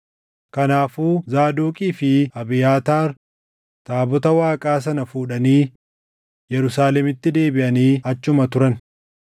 Kanaafuu Zaadoqii fi Abiyaataar taabota Waaqaa sana fuudhanii Yerusaalemitti deebiʼanii achuma turan.